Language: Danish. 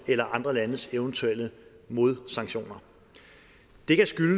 eller andre landes eventuelle modsanktioner det kan